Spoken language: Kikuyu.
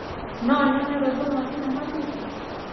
no nyone rwĩmbo rwa thĩnema thũtha